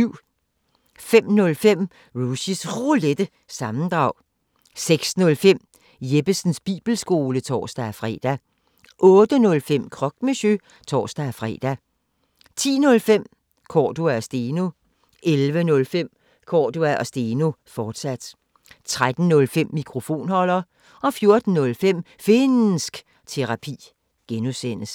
05:05: Rushys Roulette – sammendrag 06:05: Jeppesens Bibelskole (tor-fre) 08:05: Croque Monsieur (tor-fre) 10:05: Cordua & Steno 11:05: Cordua & Steno, fortsat 13:05: Mikrofonholder 14:05: Finnsk Terapi (G)